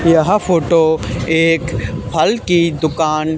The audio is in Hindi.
यह फोटो एक फल की दुकान--